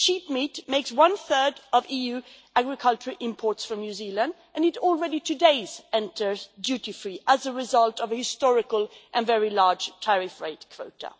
Sheep meat makes one-third of EU agricultural imports from New Zealand, and it already today enters duty-free as a result of a historical and very large tariff-rate quota.